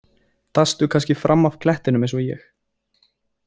Dastu kannski fram af klettinum eins og ég?